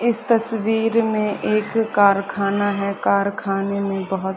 इस तस्वीर में एक कारखाना है कारखाने में बहोत --